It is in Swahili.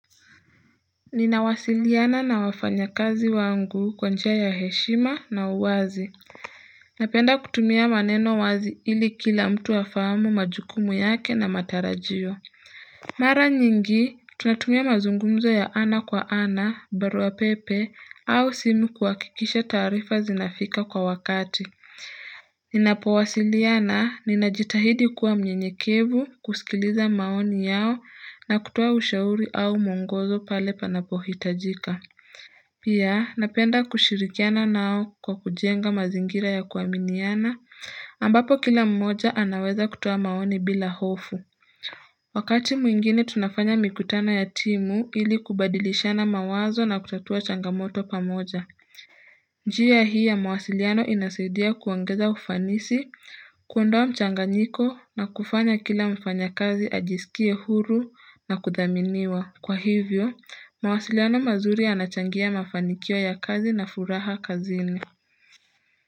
Ninawasiliana na wafanyakazi wangu kwa njia ya heshima na uwazi Napenda kutumia maneno wazi ili kila mtu afahamu majukumu yake na matarajio Mara nyingi tunatumia mazungumzo ya ana kwa ana barua pepe au simu kuhakikisha tarifa zinafika kwa wakati Ninapowasiliana ninajitahidi kuwa mnyenyekevu kusikiliza maoni yao na kutuoa ushauri au muongozo pale panapohitajika Pia, napenda kushirikiana nao kwa kujenga mazingira ya kuaminiana, ambapo kila mmoja anaweza kutoa maoni bila hofu. Wakati mwingine tunafanya mikutano ya timu ili kubadilishana mawazo na kutatua changamoto pamoja. Njia hii ya mawasiliano inasidia kuongeza ufanisi, kuondowa mchanga nyiko na kufanya kila mfanyakazi ajiskie huru na kudhaminiwa. Kwa hivyo, mawasiliano mazuri yanachangia mafanikio ya kazi na furaha kazini.